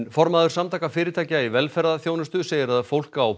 formaður Samtaka fyrirtækja í velferðarþjónustu segir að fólk á